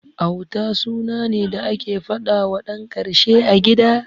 Auta suna ne da ake faɗawa ɗan karshe a gida.